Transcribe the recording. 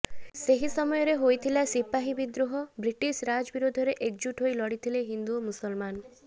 ସେହି ସମୟରେ ହୋଇଥିଲା ସିପାହୀ ବିଦ୍ରୋହ ବ୍ରିଟିଶ ରାଜ୍ ବିରୋଧରେ ଏକଜୁଟ ହୋଇ ଲଢ଼ିଥିଲେ ହିନ୍ଦୁ ଓ ମୁସଲମାନ